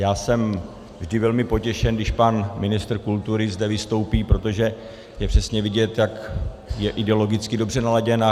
Já jsem vždy velmi potěšen, když pan ministr kultury zde vystoupí, protože je přesně vidět, jak je ideologicky dobře naladěn.